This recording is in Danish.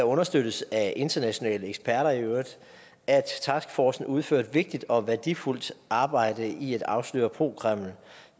understøttes af internationale eksperter at taskforcen udfører et vigtigt og værdifuldt arbejde i at afsløre pro kreml